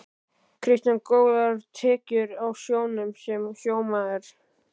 Kristján: Góðar tekjur á sjónum sem sjómaður?